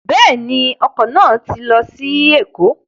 Bẹ́ẹ̀ni, ọkọ̀ náà lọ sí Ẹ̀kọ́